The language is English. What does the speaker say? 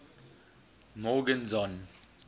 morgenzon